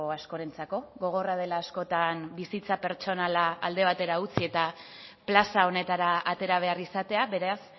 askorentzako gogorra dela askotan bizitza pertsonala alde batera utzi eta plaza honetara atera behar izatea beraz